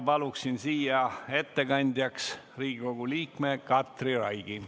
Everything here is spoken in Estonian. Palun siia ettekandjaks Riigikogu liikme Katri Raigi.